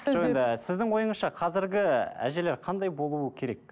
сіздің ойыңызша қазіргі әжелер қандай болуы керек